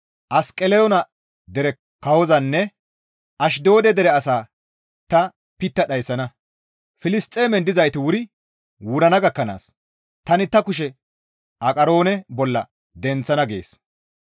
Asqeloona dere kawozanne Ashdoode dere asaa ta pitta dhayssana; Filisxeemen dizayti wuri wurana gakkanaas tani ta kushe Aqaroone bolla denththana» gees.